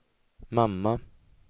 mamma